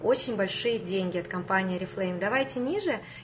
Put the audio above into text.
очень большие деньги от компании орифлейм давайте ниже